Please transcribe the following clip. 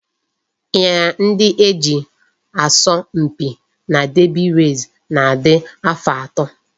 Ịnyịnya ndị e ji asọ mpi na derby race na-adị afọ atọ